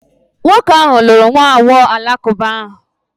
Nwoke ahụ lụrụ nwa agbọghọ Alakụba ahụ.